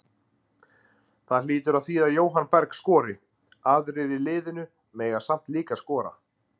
Það hlýtur að þýða Jóhann Berg skori, aðrir í liðinu mega samt líka skora.